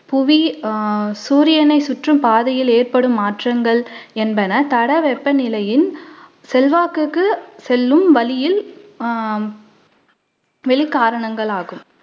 புவி அஹ் சூரியனைச் சுற்றும் பாதையில் ஏற்படும் மாற்றங்கள் என்பன தடவெப்பநிலையின் செல்வாக்குக்கு செல்லும் வழியில் அஹ் வெளிக் கரணங்களாகும்.